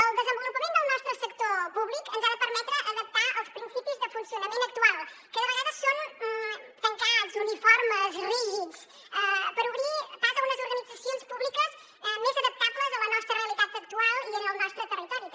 el desenvolupament del nostre sector públic ens ha de permetre adaptar els principis de funcionament actual que de vegades són tancats uniformes rígids per obrir pas a unes organitzacions públiques més adaptables a la nostra realitat actual i al nostre territori també